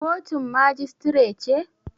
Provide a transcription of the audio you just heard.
Kotun majistire ce?